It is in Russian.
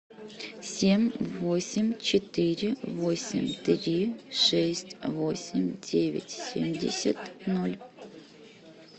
семь восемь четыре восемь три шесть восемь девять семьдесят ноль